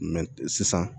sisan